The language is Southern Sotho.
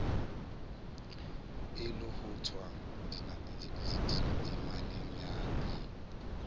e lohothwang temaneng ya i